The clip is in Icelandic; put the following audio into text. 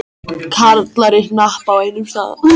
Karlar í hnapp á einum stað.